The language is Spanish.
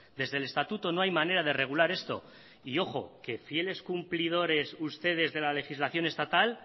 desde el estatuto no hay manera de regular esto y ojo que fieles cumplidores ustedes de la legislación estatal